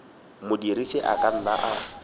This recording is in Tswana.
modirisi a ka nna a